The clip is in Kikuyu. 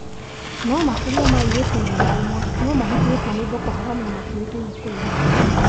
No makĩria ma airĩtu igana rimwe, no mahĩngĩrĩtwo nĩ Boko Haram na matiũĩkaine kũrĩa marĩ